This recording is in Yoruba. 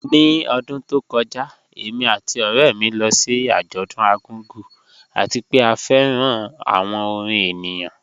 Ni ọdún tó kọ́jà, èmi àti ọ̀rẹ̀ mi lọ sí ajọ̀dún Argungu, àti pẹ̀ à fẹ́ran awọn orin ènìyàn